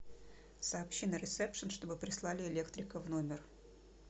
сообщи на ресепшен чтобы прислали электрика в номер